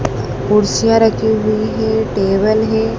कुर्सियां रखी हुई है टेबल है।